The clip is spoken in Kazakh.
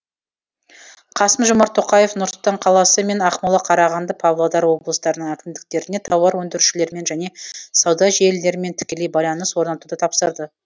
қасым жомарт тоқаев нұр сұлтан қаласы мен ақмола қарағанды павлодар облыстарының әкімдіктеріне тауар өндірушілермен және сауда желілерімен тікелей байланыс орнатуды тапсырды